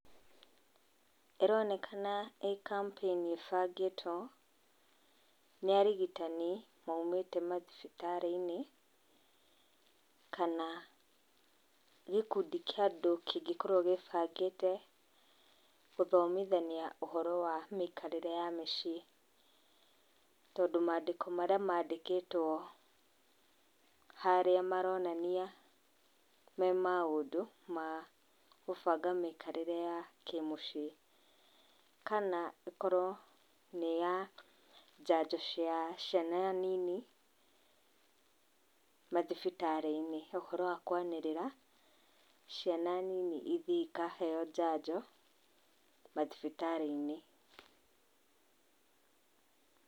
ĩronekana ĩ kampĩini ĩbangĩtwo, nĩ arigitani maumĩte mathibitarĩ-inĩ kana gĩkundi kĩa andũ kĩngĩkorwo gĩĩbangĩte gũthomithania ũhoro wa mĩikarĩre ya mĩciĩ, tondũ maandĩko marĩa maandĩkĩtwo harĩa maronania me maũndũ ma gũbanga mĩikarĩre ya kĩmũciĩ, kana ĩkorwo nĩ ya njanjo ya ciana nini mathibitarĩ-inĩ, ũhoro wa kwanĩrĩra, ciana nini ithiĩ ikaheeo njanjo mathibitarĩ-inĩ.